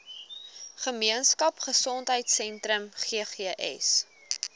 gemeenskap gesondheidsentrum ggs